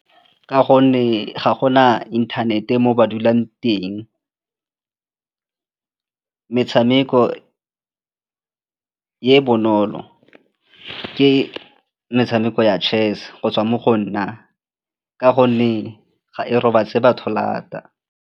Ka gonne ga go na inthanete mo ba dulang teng. Metshameko e e bonolo ke metshameko ya chess go tswa mo go nna ka gonne ga e robetse batho lata.